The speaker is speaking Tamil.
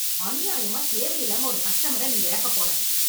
அநியாயமா, தேவையில்லாம ஒரு கஸ்டமர் நீ இழக்க போற.